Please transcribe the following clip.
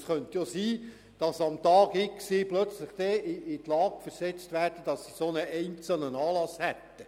Es könnte sein, dass sie am Tag X plötzlich damit konfrontiert werden, so ein Anlass ansteht.